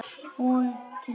Og hún kyngir.